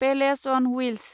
palace on wheels